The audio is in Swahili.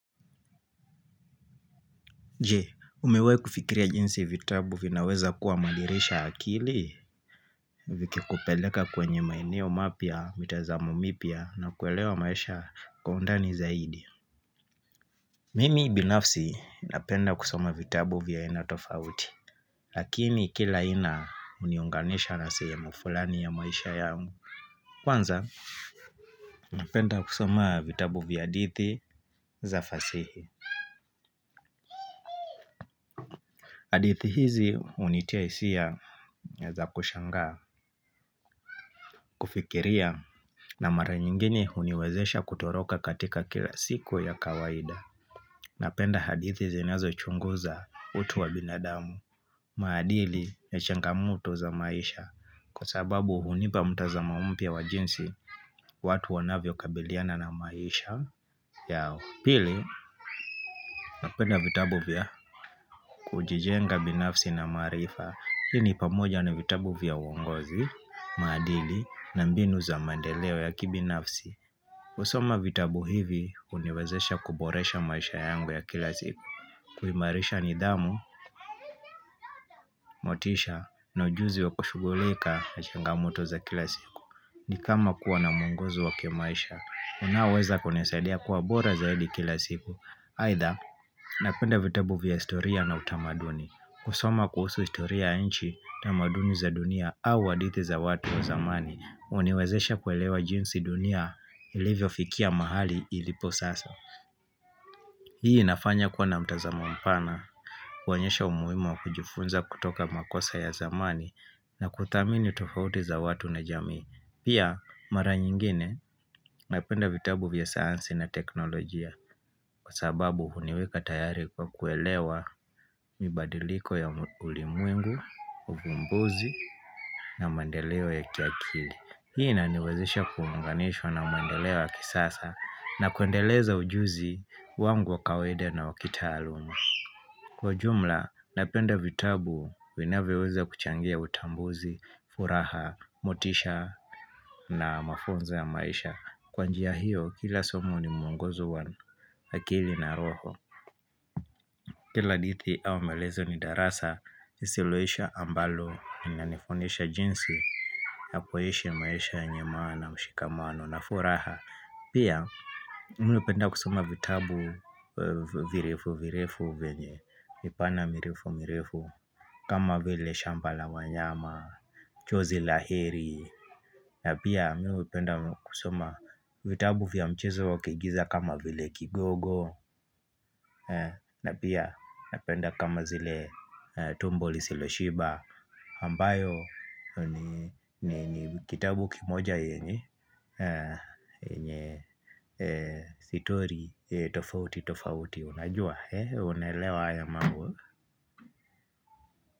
Je, umewahi kufikiria jinsi vitabu vinaweza kuwa mandirisha ya akili? Vikikupeleka kwenye maeneo mapya mitazamo mipya na kuelewa maisha kwa undani zaidi. Mimi binafsi napenda kusoma vitabu vya haina tofauti, lakini kila haina huniunganisha na sehemu fulani ya maisha yangu. Kwanza, napenda kusoma vitabu vya hadithi za fasihi. Hadithi hizi unitia hisia za kushangaa, kufikiria na mara nyingine uniwezesha kutoroka katika kila siku ya kawaida Napenda hadithi zinazochunguza utu wa binadamu maadili ya changamoto za maisha. Kwa sababu hunipa mtazamo mpya wa jinsi watu wanavyokabiliana na maisha yao. Pili, napenda vitabu vya kujijenga binafsi na maarifa. Hii ni pamoja na vitabu vya uongozi, maadili na mbinu za mandeleo ya kibinafsi. Kusoma vitabu hivi uniwezesha kuboresha maisha yangu ya kila siku. Kuhimarisha nidhamu, motisha na ujuzi wa kushughulika na changamoto za kila siku. Ni kama kuwa na mwongozo wa kimaisha, unaoweza kunisaidia kuwa bora zaidi kila siku. Haidha, napenda vitabu vya historia na utamaduni. Kusoma kuhusu historia ya nchi na tamaduni za dunia au hadithi za watu wa zamani uniwezesha kuelewa jinsi dunia ilivyofikia mahali ilipo sasa Hii inafanya kuwa na mtazamo mpana kuonyesha umuhimu wa kujifunza kutoka makosa ya zamani na kuthamini tofauti za watu na jamii. Pia, mara nyingine napenda vitabu vya sayansi na teknolojia Kwa sababu huniweka tayari kwa kuelewa mibadiliko ya ulimwengu, uvumbuzi na maendeleo ya kiakili. Hii inaniwezesha kuunganishwa na maendeleo ya kisasa na kuendeleza ujuzi wangu wa kawaida na wa kitaaluma Kwa jumla, napenda vitabu, vinavyoweza kuchangia utambuzi, furaha, motisha na mafunzo ya maisha. Kwa njia hiyo, kila somo ni muongozo wa akili na roho. Kila hadithi au maelezo ni darasa nisiloisha ambalo linanifundisha jinsi ya kuishi maisha yenye maana na ushikamano na furaha pia Mimi hupenda kusoma vitabu virefu virefu vyenye vipana mirefu mirefu kama vile shamba la wanyama chozi la heri na pia mi hupenda kusoma vitabu vya mchezo wa kuigiza kama vile kigogo na pia napenda kama zile tumbo lisilo shiba ambayo ni kitabu kimoja yenye stori tofauti tofauti Unajua? Unaelewa haya mambo.